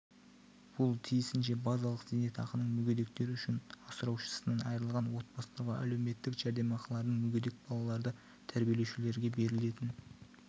бұл тиісінше базалық зейнетақының мүгедектер үшін асыраушысынан айырылған отбасыларға әлеуметтік жәрдемақылардың мүгедек балаларды тәрбиелеушілерге берілетін